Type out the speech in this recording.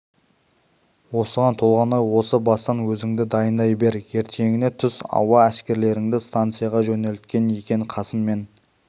осыған толғанай осы бастан өзіңді дайындай бер ертеңіне түс ауа әскерлерді станцияға жөнелткен екен қасым мен